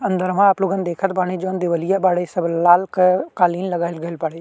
अंदरवा आप लोगन देखत बाड़ी जोन देवलिया बाड़े सब लाल क कालीन लगाईल गइल बाड़े।